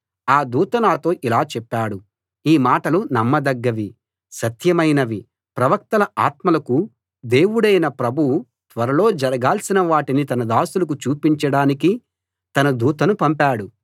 ఆ దూత నాతో ఇలా చెప్పాడు ఈ మాటలు నమ్మదగ్గవి సత్యమైనవి ప్రవక్తల ఆత్మలకు దేవుడైన ప్రభువు త్వరలో జరగాల్సిన వాటిని తన దాసులకు చూపించడానికి తన దూతను పంపాడు